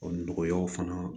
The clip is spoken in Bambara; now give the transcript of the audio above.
nɔgɔyaw fana